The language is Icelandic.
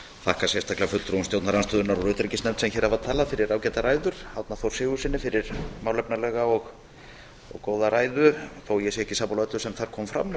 þakka sérstaklega fulltrúum stjórnarandstöðunnar úr utanríkismálanefnd sem hér hafa talað fyrir ágætar ræður árna þór sigurðssyni fyrir málefnalega og góða ræðu þó ég sé ekki sammála öllu sem þar kom fram